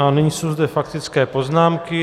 A nyní jsou tady faktické poznámky.